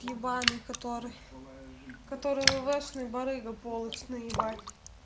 ебаный который который вы вошли барыга полость н